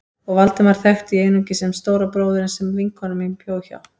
Og Valdemar þekkti ég einungis sem stóra bróðurinn sem vinkona mín bjó hjá.